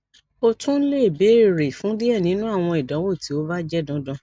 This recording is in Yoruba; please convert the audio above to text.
o tun le beere fun diẹ ninu awọn idanwo ti o ba jẹ dandan